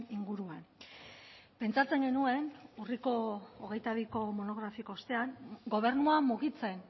inguruan pentsatzen genuen urriko hogeita biko monografiko ostean gobernua mugitzen